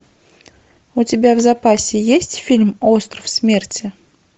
у тебя в запасе есть фильм остров смерти